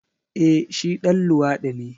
Eh shi ɗan luwadi ne.